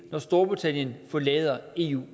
når storbritannien forlader eu